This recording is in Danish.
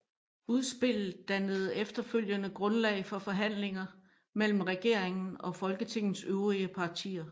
Udspillet dannede efterfølgende grundlag for forhandlinger mellem regeringen og Folketingets øvrige partier